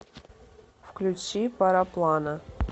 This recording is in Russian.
включи пароплана